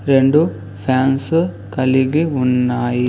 రెండు ఫ్యాన్సు కలిగి ఉన్నాయి.